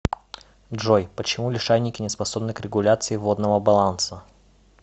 джой почему лишайники не способны к регуляции водного баланса